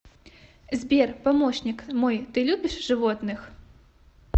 сбер помощник мой ты любишь животных